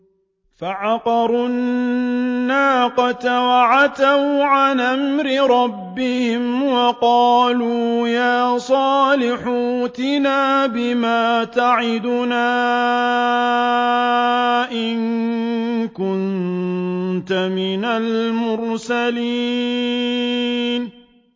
فَعَقَرُوا النَّاقَةَ وَعَتَوْا عَنْ أَمْرِ رَبِّهِمْ وَقَالُوا يَا صَالِحُ ائْتِنَا بِمَا تَعِدُنَا إِن كُنتَ مِنَ الْمُرْسَلِينَ